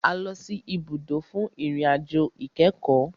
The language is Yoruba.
A lọ sì ibùdó fún ìrìn àjò ìkẹ́kọ̀.